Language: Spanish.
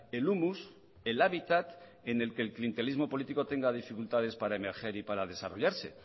el humus el hábitat en el que el clientelismo político tenga dificultades para emerger y para desarrollarse